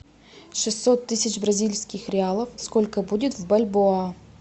шестьсот тысяч бразильских реалов сколько будет в бальбоа